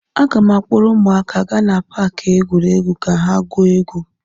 Aga m akpọrọ ụmụaka gaa na paakị egwuregwu ka ha gwuo egwu.